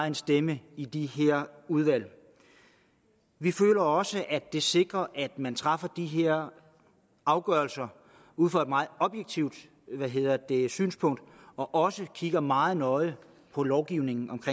en stemme i de her udvalg vi føler også at det sikrer at man træffer de her afgørelser ud fra et meget hvad hedder det objektivt synspunkt og også kigger meget nøje på lovgivningen